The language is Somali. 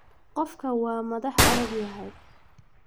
Qofkan wa madhax adagyahy.